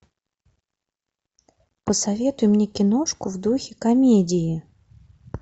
посоветуй мне киношку в духе комедии